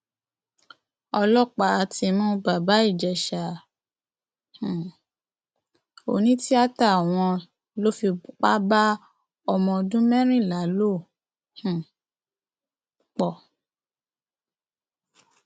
ọlọpàá ti mú bàbá ìjẹsà um onítìítà wọn lọ fipá bá ọmọ ọdún mẹrìnlá lò um pọ